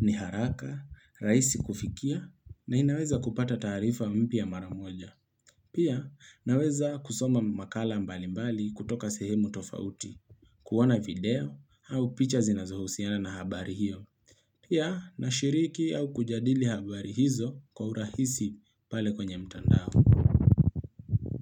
Ni haraka, raisi kufikia, na inaweza kupata taarifa mpya maramoja. Pia, naweza kusoma makala mbali mbali kutoka sehemu tofauti. Kuona video, au picha zinazohusiana na habari hiyo. Pia, nashiriki au kujadili habari hizo kwa urahisi pale kwenye mtandao.